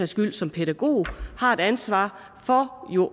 skyld som pædagog har et ansvar for